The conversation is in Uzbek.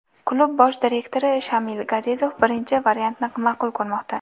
Klub bosh direktori Shamil Gazizov birinchi variantni ma’qul ko‘rmoqda.